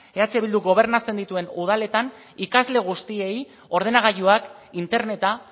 eh bilduk gobernatzen dituen udaletan ikasle guztiei ordenagailuak interneta